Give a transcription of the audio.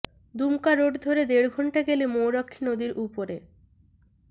Dumka road ধরে দেড় ঘণ্টা গেলে ময়ূরাক্ষী নদীর উপরে